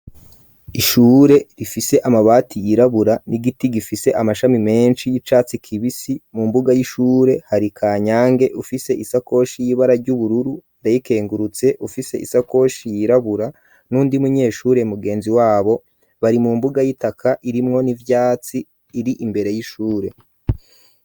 Ishure rifise amabati yirabura n'igiti gifise amashami menshi y'icatsi kibisi mu mbuga y'ishure hari Kanyange ufise isakoshi y'ibara ry'ubururu Ndayikengurutse ufise isakoshi yirabura n'uyundi munyeshure mugenzi wabo bari mu mbuga y'itaka irimwo n'ivyatsi iri imbere y'ishure.